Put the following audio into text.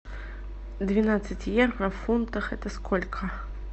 двенадцать евро в фунтах это сколько